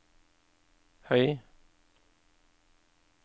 høy